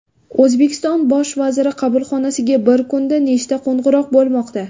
O‘zbekiston bosh vaziri qabulxonasiga bir kunda nechta qo‘ng‘iroq bo‘lmoqda?